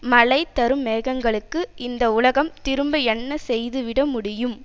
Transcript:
மழை தரும் மேகங்களுக்கு இந்த உலகம் திரும்ப என்ன செய்து விட முடியும்